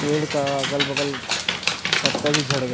पेड़ का अगल - बगल पत्ता भी झड़ गए --